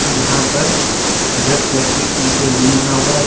यहां पर red colour की अं एक रूम बना हुआ है।